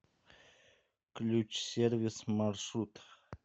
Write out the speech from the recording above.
ключсервис маршрут